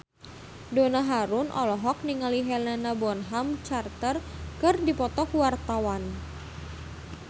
Donna Harun olohok ningali Helena Bonham Carter keur diwawancara